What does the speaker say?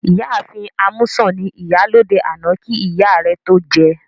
Ìyá ààfin Amusan ni Ìyálóde àná kí ìyá rẹ tó jẹ